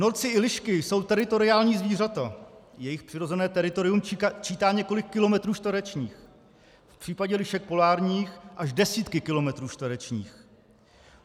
Norci i lišky jsou teritoriální zvířata, jejich přirozené teritorium čítá několik kilometrů čtverečních, v případě lišek polárních až desítky kilometrů čtverečních.